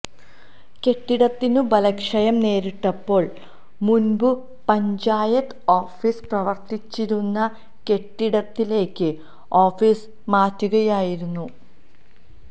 കെട്ടിടത്തിനു ബലക്ഷയം നേരിട്ടപ്പോള് മുന്പു പഞ്ചായത്ത് ഓഫിസ് പ്രവര്ത്തിച്ചിരുന്ന കെട്ടിടത്തിലേക്ക് ഓഫിസ് മാറ്റുകയായിരുന്നു